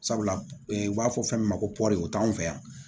Sabula u b'a fɔ fɛn min ma ko o t'anw fɛ yan